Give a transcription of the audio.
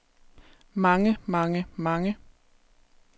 mange mange mange